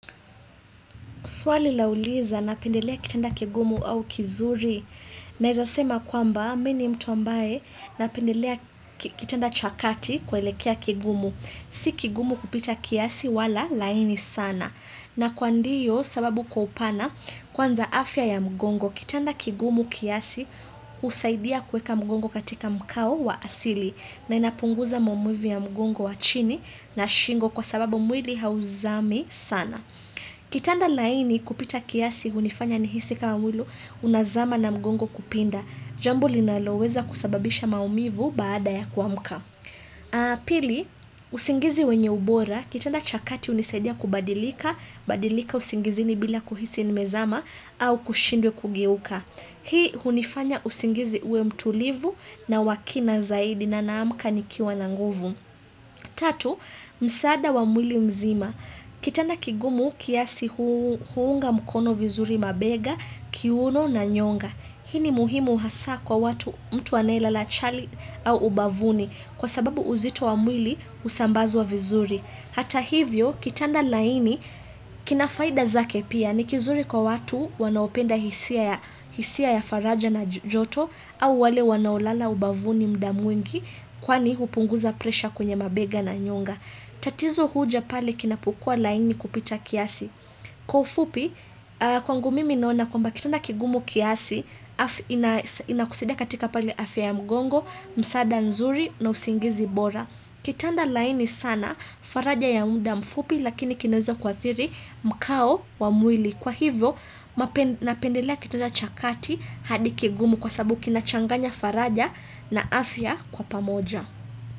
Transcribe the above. Swali lauliza napendelea kitanda kigumu au kizuri naeza sema kwamba mi ni mtu ambaye napendelea kitanda cha kati kuelekea kigumu. Si kigumu kupita kiasi wala laini sana. Na kwa ndiyo sababu kwa upana kwanza afya ya mgongo kitanda kigumu kiasi husaidia kuweka mgongo katika mkao wa asili na inapunguza maumivu ya mgongo wa chini na shingo kwa sababu mwili hauzami sana. Kitanda laini kupita kiasi hunifanya nihisi kama mwili unazama na mgongo kupinda. Jambo linaloweza kusababisha maumivu baada ya kuamka. Pili, usingizi wenye ubora, kitanda cha kati hunisadia kubadilika, badilika usingizini bila kuhisi nimezama au kushindwa kugeuka. Hii hunifanya usingizi uwe mtulivu na wa kina zaidi na naamka nikiwa na nguvu. Tatu, msaada wa mwili mzima. Kitanda kigumu kiasi huunga mkono vizuri mabega, kiuno na nyonga. Hii ni muhimu hasa kwa watu mtu anayelala chali au ubavuni kwa sababu uzito wa mwili husambazwa vizuri. Hata hivyo, kitanda laini, kina faida zake pia ni kizuri kwa watu wanaopenda hisia ya faraja na joto au wale wanaolala ubavuni mda mwingi kwani hupunguza presha kwenye mabega na nyonga. Tatizo huja pale kinapokua laini kupita kiasi. Kwa ufupi, kwangu mimi naona kwamba kitanda kigumu kiasi, inakusaidia katika pale afya ya mgongo, msaada nzuri na usingizi bora. Kitanda laini sana, faraja ya mda mfupi lakini kinaweza kuathiri mkao wa mwili. Kwa hivyo, napendelea kitanda cha kati hadi kigumu kwa sabu kinachanganya faraja na afya kwa pamoja.